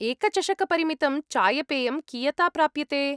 एकचषकपरिमितं चायपेयं कियता प्राप्यते?